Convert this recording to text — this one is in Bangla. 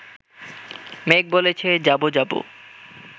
মেঘ বলেছে যাবো যাবো